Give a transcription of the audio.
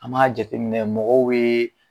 An b'a jateminɛ mɔgɔw be.